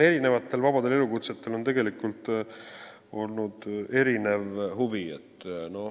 Erinevatel vabadel elukutsetel on tegelikult olnud erinev huvi.